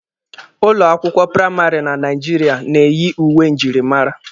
Ụlọ akwụkwọ praịmarị na Naijiria na-eyi uwe njirimara.